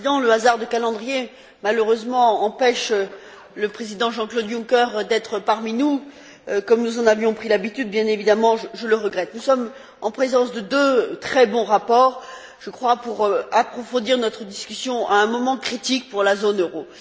Monsieur le Président, le hasard du calendrier, malheureusement, empêche le président Jean Claude Juncker d'être parmi nous, comme nous en avions pris l'habitude. Bien évidemment, je le regrette. Nous sommes en présence de deux très bons rapports permettant d'approfondir notre discussion à un moment critique pour la zone euro.